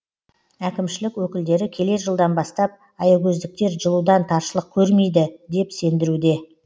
әкімшілік өкілдері келер жылдан бастап аягөздіктер жылудан таршылық көрмейді деп сендіруде